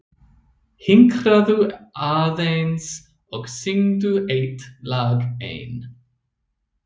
Hinkraðu aðeins og syngdu eitt lag enn.